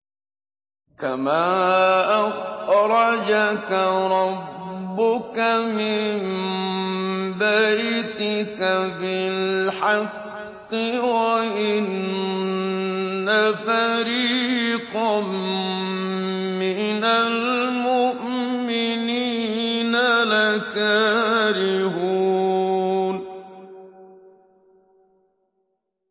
كَمَا أَخْرَجَكَ رَبُّكَ مِن بَيْتِكَ بِالْحَقِّ وَإِنَّ فَرِيقًا مِّنَ الْمُؤْمِنِينَ لَكَارِهُونَ